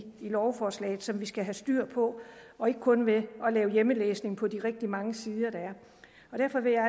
lovforslaget som vi skal have styr på og ikke kun ved at lave hjemmelæsning på de rigtig mange sider der er derfor vil jeg